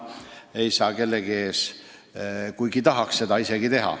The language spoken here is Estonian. Seda isegi ei saa kellegi ees teha, kuigi tahaks.